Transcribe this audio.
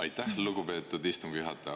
Aitäh, lugupeetud istungi juhataja!